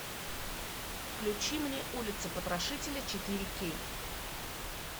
включи мне улица потрошителей четыре кей